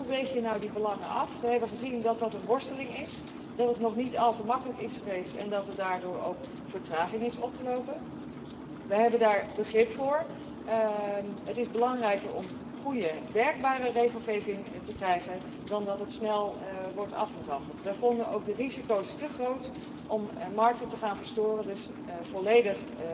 Hoe weeg je die belangen af? We hebben gezien dat dat een worsteling is, dat het niet al te makkelijk is geweest en dat er daardoor ook vertraging is opgelopen. Daar hebben we begrip voor. Het is belangrijker om goede, werkbare regelgeving te krijgen dan dat het snel wordt afgeraffeld. We vonden ook de risico's te groot om markten te verstoren, dus wij ondersteunen dit uitstel volledig.